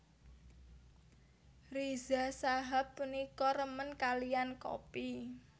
Riza Shahab punika remen kaliyan kopi